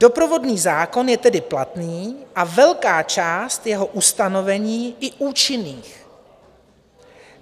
Doprovodný zákon je tedy platný a velká část jeho ustanovení i účinných.